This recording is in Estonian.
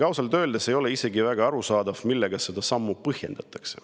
Ausalt öeldes ei ole isegi väga arusaadav, millega seda sammu põhjendatakse.